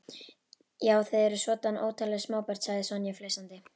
Já, þið eruð svoddan óttaleg smábörn sagði Sonja flissandi.